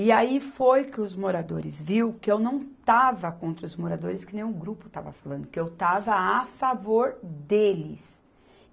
E aí foi que os moradores viu que eu não estava contra os moradores, que nem o grupo estava falando, que eu estava a favor deles.